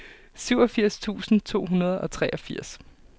syvogfirs tusind to hundrede og treogfirs